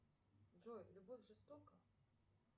джой любовь жестока